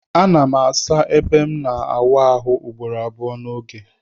Anam asa ebe mu na awụ arụ ugboro abụọ na oge.